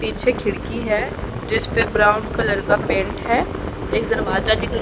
पीछे खिड़की है जिस पे ब्राउन कलर का पेंट है एक दरवाजा दिख--